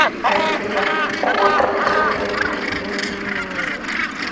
Palilia - mũgũnda ũtarĩ na igunyũ